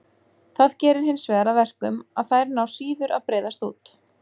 Það gerir hinsvegar að verkum að þær ná síður að breiðast út.